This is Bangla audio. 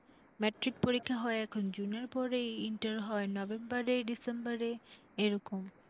ম্যাট্রিক পরীক্ষা হয় এখন June র পরে, ইন্টার হয় November, December এ এরকম।